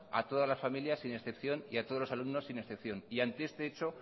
a todas las familias sin excepción y a todos los alumnos sin excepción y ante este hecho